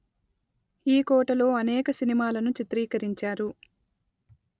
ఈకోటలో అనేక సినిమాలను చిత్రీకరించారు